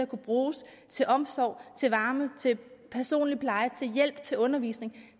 kunne bruges til omsorg til varme til personlig pleje til hjælp til undervisning